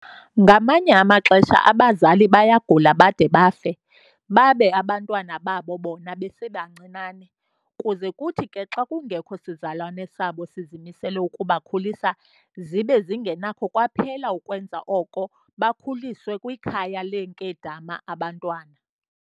Ngamanye amaxesha abazali bayagula bade bafe babe abantwana babo bona besebancinane, kuze kuthi ke xa kungekho sizalwane sabo sizimisele ukubakhulisa, zibe zingenakho kwaphela ukwenza oko, bakhuliswe kwikhaya leenkedama abantwana.